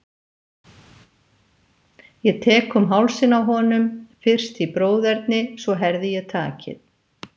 Ég tek um hálsinn á honum, fyrst í bróðerni, svo herði ég takið.